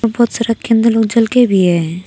बहुत सारा कितने लोग चल के भी है।